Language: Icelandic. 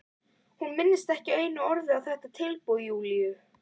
Hún minntist ekki einu orði á þetta tilboð Júlíu.